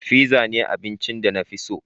Fizza ne abincin da na fi so.